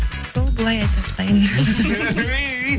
сол былай айта салайын